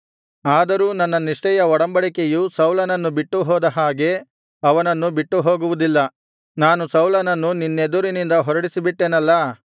ಆದರೂ ನನ್ನ ನಿಷ್ಠೆಯ ಒಡಂಬಡಿಕೆಯು ಸೌಲನನ್ನು ಬಿಟ್ಟು ಹೋದ ಹಾಗೆ ಅವನನ್ನು ಬಿಟ್ಟು ಹೋಗುವುದಿಲ್ಲ ನಾನು ಸೌಲನನ್ನು ನಿನ್ನೆದುರಿನಿಂದ ಹೊರಡಿಸಿಬಿಟ್ಟೆನಲ್ಲಾ